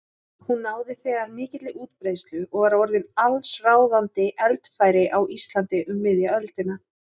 Hún náði þegar mikilli útbreiðslu og var orðin allsráðandi eldfæri á Íslandi um miðja öldina.